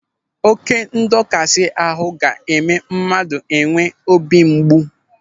Oké ndọkasị ahụ ga-eme mmadụ enwee obi mgbu.